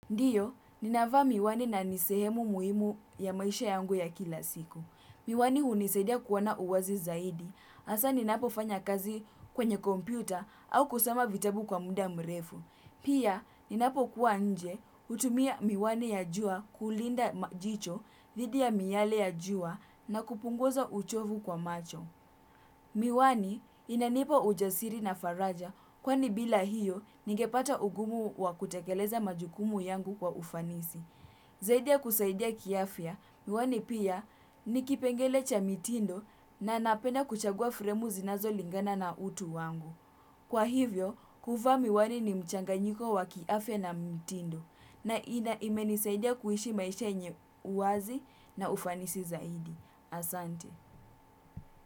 Ndiyo, ninavaa miwani na ni sehemu muhimu ya maisha yangu ya kila siku. Miwani hunisadia kuona uwazi zaidi, hasa ninapofanya kazi kwenye kompyuta au kusoma vitabu kwa muda mrefu. Pia, ninapo kuwa nje, hutumia miwani ya jua kulinda jicho dhidi ya miyale ya jua na kupunguza uchovu kwa macho. Miwani inanipa ujasiri na faraja kwani bila hiyo ningepata ugumu wa kutekeleza majukumu yangu kwa ufanisi. Zaidia kusaidia kiafya, miwani pia nikipengele cha mitindo na napenda kuchagua fremu zinazolingana na utu wangu. Kwa hivyo, kuvaa miwani ni mchanganyiko wa kiafya na mtindo na imenisaidia kuishi maisha yenye uazi na ufanisi zaidi. Asante.